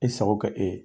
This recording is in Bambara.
E sago kɛ e ye